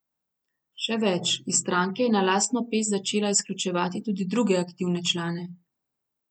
Še več, iz stranke je na lastno pest začela izključevati druge aktivne člane.